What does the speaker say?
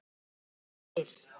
Saga verður til